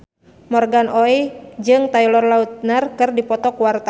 Morgan Oey jeung Taylor Lautner keur dipoto ku wartawan